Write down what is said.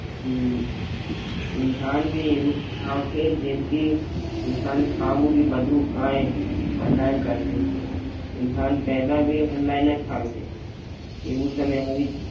હમ ઇન્સાન ભી એવું જ આવશે જેમકી ઇન્સાન ખાવું ભી બધું કાંઈ ઓનલાઇન કરશે. ઇન્સાન પેદા ભી ઓનલાઇન જ થાશે. એવું સ ને અભી